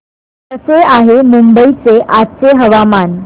कसे आहे मुंबई चे आजचे हवामान